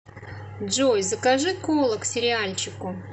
джой закажи кола к сериальчику